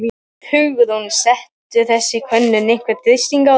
Hugrún: Setur þessi könnun einhvern þrýsting á þig?